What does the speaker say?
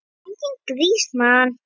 Enginn grís, mann!